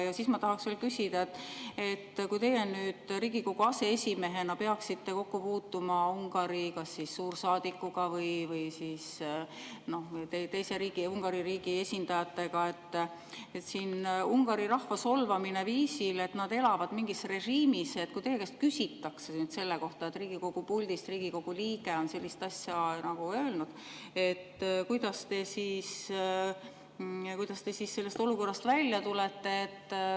Ja siis ma tahaks veel küsida, et kui teie nüüd Riigikogu aseesimehena peaksite kokku puutuma kas Ungari suursaadikuga või Ungari riigi teiste esindajatega – siin oli Ungari rahva solvamine, et nad elavad mingis režiimis – ja kui teie käest küsitakse selle kohta, et Riigikogu puldist on Riigikogu liige sellist asja öelnud, kuidas te sellest olukorrast välja tulete?